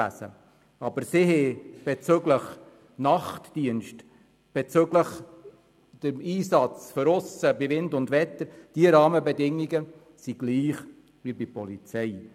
Sie haben jedoch bezüglich Nachtdienst sowie des Ausseneisatzes dieselben Rahmenbedingungen wie die Polizei.